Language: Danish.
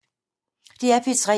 DR P3